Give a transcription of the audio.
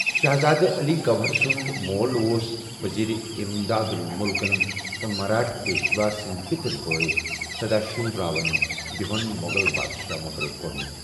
شہزادہ علی گوہر سُنٛد مول اوس وزیر اِمداد اُل مُلكن تہٕ مراٹھا پیشوا سٕندِ پِتٕرِ بٲیہ سدا شِو راو بہوُ ین مو٘غل بادشاہ مُقرر كو٘رمُت ۔